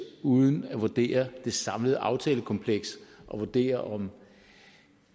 uden at vurdere det samlede aftalekompleks og vurdere om